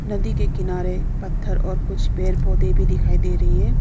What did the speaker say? नदी के किनारे पत्थर और कुछ पेड़ पौधे भी दिखाई दे रही है।